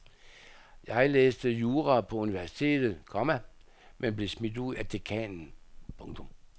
Jeg læste jura på universitet, komma men blev smidt ud af dekanen. punktum